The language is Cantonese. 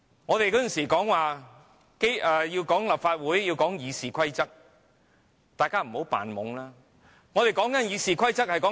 我們以往說立法會要遵守《議事規則》，請大家不要扮傻，我們說的是英國的《議事規則》。